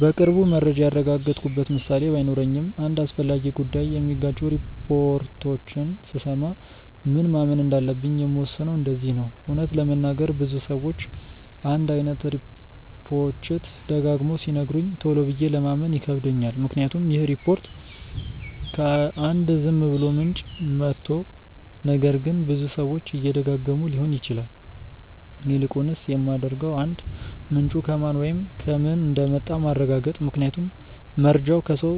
በቅርቡ መረጃ ያረጋገጥኩበት ምሳሌ ባይኖረኝም አንድ አስፈላጊ ጉዳይ የሚጋጩ ሪፖርቶችን ስሰማ ምን ማመን እንዳለብኝ የምወስነው እንደዚህ ነው :- እውነት ለመናገር ብዙ ሰዎች አንድ አይነት ሪፖችት ደጋግመው ሲነግሩኝ ቶሎ ብዬ ለማመን ይከብደኛል ምክንያቱም ይህ ሪፖርት ከ አንድ ዝም ብሎ ምንጭ መቶ ነገር ግን ብዙ ሰዎች እየደጋገመው ሊሆን ይችላል። ይልቁንስ የማደርገው 1. ምንጩ ከማን ወይም ከምን እንደመጣ ማረጋገጥ ምክንያቱም መርጃው ከሰው፣